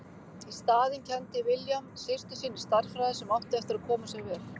Í staðinn kenndi William systur sinni stærðfræði sem átti eftir að koma sér vel.